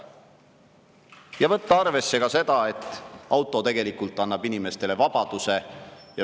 Ja tuleb võtta arvesse ka seda, et auto tegelikult annab inimestele vabaduse.